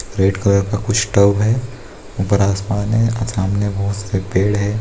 red colour का कुछ tub है ऊपर आसमान है सामने बहुत से पेड़ है |